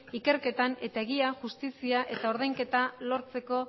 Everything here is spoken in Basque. ikerketan eta egian justizia eta ordainketa lortzeko